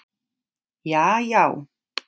jaajá